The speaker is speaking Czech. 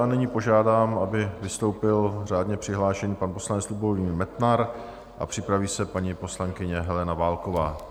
A nyní požádám, aby vystoupil řádně přihlášený pan poslanec Lubomír Metnar a připraví se paní poslankyně Helena Válková.